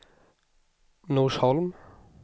Norsholm